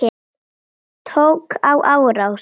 Tók á rás.